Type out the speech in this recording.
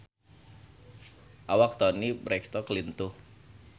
Awak Toni Brexton lintuh